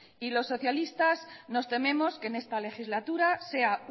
y los socialistas nos tememos que en esta legislatura sea